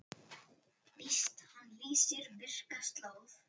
Víst hann lýsir myrka slóð.